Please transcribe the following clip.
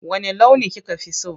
Wanne launi kika fi so?